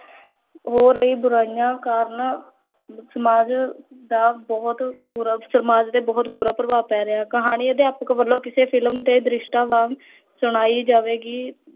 ਹੋ ਰਹੀ ਬੁਰਾਈਆਂ ਕਾਰਣ ਸਮਾਜ ਦਾ ਬਹੁਤ ਬੁਰਾ ਸਮਾਜ ਤੇ ਬਹੁਤ ਬੁਰਾ ਪ੍ਭਾਵ ਪੈ ਰਿਹਾ ਹੈ, ਕਹਾਣੀ ਅਧਿਆਪਕ ਵੱਲੋਂ ਕਿਸੇ film ਦੇ ਦ੍ਰਿਸ਼ਟਾਂ ਵਾਂਗ ਸਣਾਈ ਜਾਵੇਗੀ